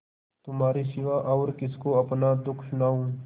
तुम्हारे सिवा और किसको अपना दुःख सुनाऊँ